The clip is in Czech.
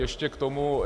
Ještě k tomu.